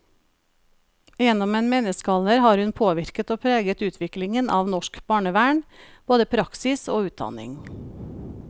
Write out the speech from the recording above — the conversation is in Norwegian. Gjennom en menneskealder har hun påvirket og preget utviklingen av norsk barnevern, både praksis og utdanning.